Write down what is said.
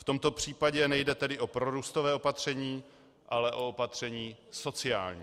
V tomto případě nejde tedy o prorůstové opatření, ale o opatření sociální.